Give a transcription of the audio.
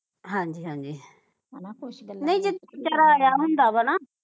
ਹਾਂਜੀ ਹਾਂਜੀ ਨਹੀਂ ਆਇਆ ਹੁੰਦਾ ਵਾ ਨਾ